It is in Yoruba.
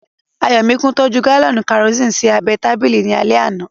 Ayọ̀míkún tọ́jú gálọ̀nì kẹrosini sí abẹ́ ẹ tábìlì ní alẹ́ àná